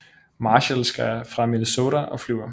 Marshall skal fra Minnesota og flyver